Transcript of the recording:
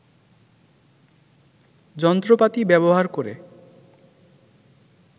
যন্ত্রপাতি ব্যবহার করে